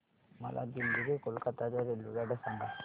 मला दिल्ली ते कोलकता च्या रेल्वेगाड्या सांगा